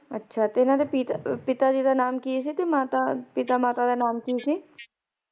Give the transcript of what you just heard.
ਅੱਛਾ ਤੇ ਓਹਨਾਂ ਦੇ ਪਿਤਾ ਪਿਤਾ ਜੀ ਦਾ ਨਾਂ ਕੀ ਸੀ ਤੇ ਮਾਤਾ ਪਿਤਾ ਮਾਤਾ ਦਾ ਕੀ ਨਾਂ ਸੀ?